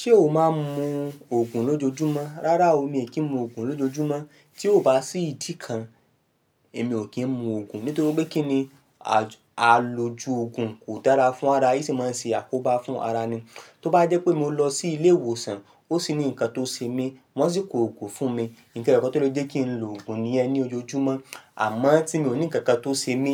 Ṣé o máa ń mu òògùn lójoojúmọ́? Rárá o, mi ò kí ń mu òògùn lójoojúmọ́. Tí ò bá sí ìdí kan, èmi ò kí ń mu òògùn. Nítorí pé kí ni? A loju òògùn kò dára fún ara, yóò sì máa ń ṣe àkóbá fún ara ni. Tí ó bá jẹ́ pé mo lọ sí ilé ìwòsàn, ó sì ní ǹkan tó ṣe mí, wọ́n sì kó òògùn fún mi, nǹkan tó le jẹ́ kí n lo òògùn nìyẹn ní ojoojúmọ́. Àmọ́ tí mi ò ní ǹkan kan tó ṣe mí,